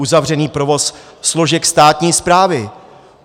Uzavřený provoz složek státní správy.